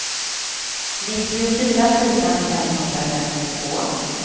nittiofyra tusen femhundrafemtiotvå